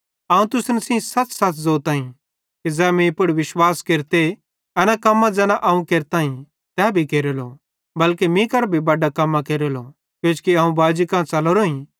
अवं तुसन सेइं सच़सच़ ज़ोताईं कि ज़ै मीं पुड़ विश्वास केरते एना कम्मां ज़ैना अवं केरताईं तै भी केरेलो बल्के मीं करां भी बडां कम्मां केरेलो किजोकि अवं बाजी कां च़लोरोईं